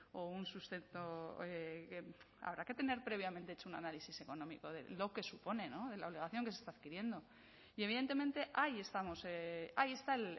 o un sustento habrá que tener previamente hecho un análisis económico de lo que supone la obligación que se está adquiriendo y evidentemente ahí estamos ahí están